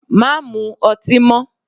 Má mu ọtí mọ́!